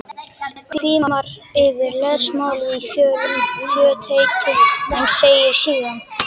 Hvimar yfir lesmálið í fljótheitum en segir síðan